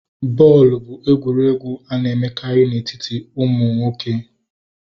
bọọlụ bụ egwuregwu a na-emekarị na etiti ụmụaka ụmụ nwoke